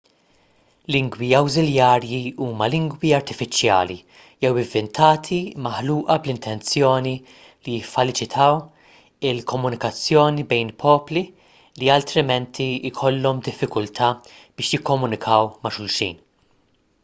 lingwi awżiljarji huma lingwi artifiċjali jew ivvintati maħluqa bl-intenzjoni li jiffaċilitaw il-komunikazzjoni bejn popli li altrimenti jkollhom diffikultà biex jikkomunikaw ma' xulxin